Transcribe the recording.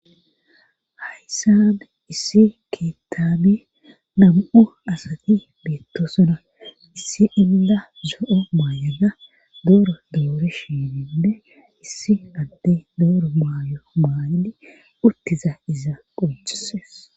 Hayssade issi keettaabi nam7o asati beettosona issi inda zo7o maayada dooro doore shininde issi adde dooro maayo maayadi urtiza iza qoccheses